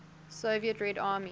soviet red army